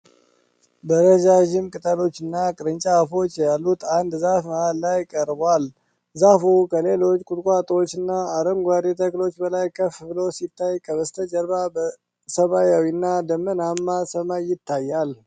በረዣዥም ቅጠሎችና ቅርንጫፎች ያሉት አንድ ዛፍ መሃል ላይ ቀርቧል። ዛፉ ከሌሎች ቁጥቋጦዎችና አረንጓዴ ተክሎች በላይ ከፍ ብሎ ሲታይ ከበስተጀርባ ሰማያዊና ደመናማ ሰማይ ይታያል።